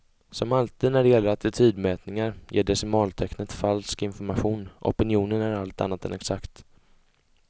Som alltid när det gäller attitydmätningar ger decimaltecknet falsk information, opinionen är allt annat än exakt.